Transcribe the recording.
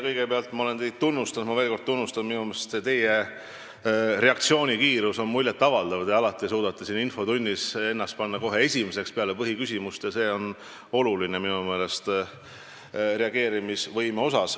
Kõigepealt ütlen, et ma olen teid juba tunnustanud ja teen seda veel kord: minu meelest teie reaktsioonikiirus on muljetavaldav, te suudate alati ennast siin infotunnis panna kohe esimeseks peale põhiküsimust.